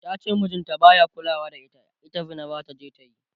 tace mijin ta baya kulawa da ita, ita Zina zataje ta yi